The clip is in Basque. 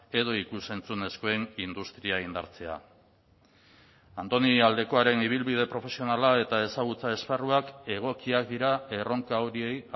edo ikus entzunezkoen industria indartzea andoni aldekoaren ibilbide profesionala eta ezagutza esparruak egokiak dira erronka horiei